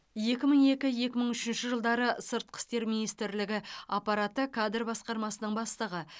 екі мың екі екі мың үшінші жылдары сыртқы істер министрлігі аппараты кадр басқармасының бастығы